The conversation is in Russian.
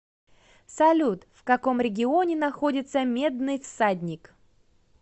салют в каком регионе находится медный всадник